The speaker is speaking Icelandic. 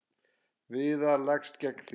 Viðar leggst gegn því.